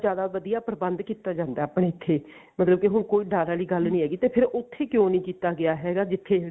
ਜਿਆਦਾ ਵਧੀਆ ਪ੍ਰਬੰਧ ਕੀਤਾ ਜਾਂਦਾ ਆਪਣੇ ਇੱਥੇ ਮਤਲਬ ਕਿ ਹੁਣ ਕੋਈ ਡਰ ਵਾਲੀ ਗੱਲ ਨੀ ਹੈਗੀ ਤੇ ਫ਼ੇਰ ਉੱਥੇ ਕਿਉਂ ਨੀ ਕੀਤਾ ਗਿਆ ਜਿੱਥੇ